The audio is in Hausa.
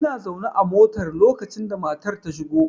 Ina zaune a mota lokacin da matar ta shigo.